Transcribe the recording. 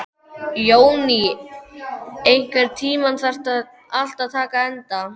Jóný, einhvern tímann þarf allt að taka enda.